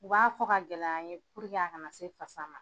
U b'a fɔ ka gɛlɛya an ye puruke a kana se fasa ma.